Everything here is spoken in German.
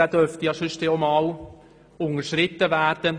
Dieser dürfte auch einmal unterschritten werden.